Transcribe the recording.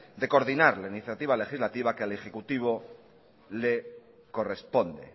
de coordinar la iniciativa legislativa que al ejecutivo le corresponde